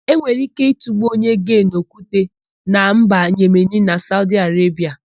E nwere íké ịtụgbu onye gee n'okwute na mba Yemeni na Saudi Arebia.